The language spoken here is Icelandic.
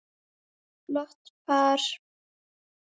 Flott par.